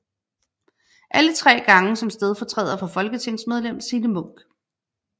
Alle tre gange som stedfortræder for folketingsmedlem Signe Munk